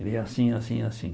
Ele, assim, assim, assim.